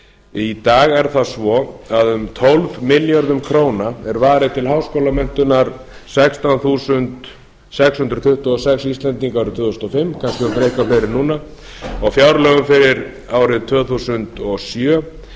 í dag er það svo að um tólf milljörðum króna er varið til háskólamenntunar sextán þúsund sex hundruð tuttugu og fimm íslendingar tvö þúsund og fimm kannski eitthvað fleiri núna og fjárlög fyrir árið tvö þúsund og sjö er